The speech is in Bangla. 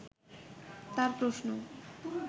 তার প্রশ্ন